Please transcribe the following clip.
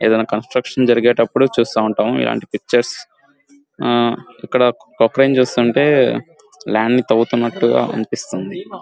ఏదైనా కన్స్ట్రక్షన్స్ జరిగేటప్పుడు చూస్తూ ఉంటాం ఎలాంటి పిక్చర్స్ ఇక్కడ ఒక ప్రొక్లయిన్ చూస్తుంటే ల్యాండ్ తవ్వుతున్నట్టు అనిపిస్తుంది.